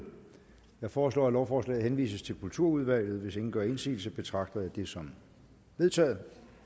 jeg foreslår at lovforslaget henvises til kulturudvalget hvis ingen gør indsigelse betragter jeg det som vedtaget